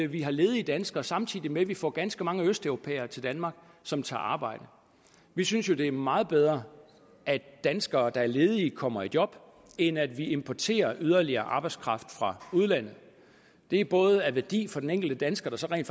vi har ledige danskere samtidig med at vi får ganske mange østeuropæere til danmark som tager arbejde vi synes jo det er meget bedre at danskere der er ledige kommer i job end at vi importerer yderligere arbejdskraft fra udlandet det er både af værdi for den enkelte dansker som rent